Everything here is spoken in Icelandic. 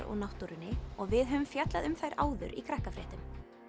og náttúrunni og við höfum fjallað um þær áður í Krakkafréttum